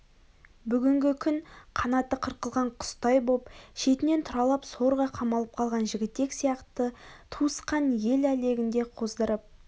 бүгінгі күн қанаты қырқылған құстай боп шетінен тұралап сорға қамалып қалған жігітек сияқты туысқан ел әлегін де қоздырып